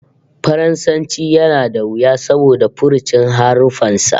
Faransanci yana da wuya saboda furucin haruffan sa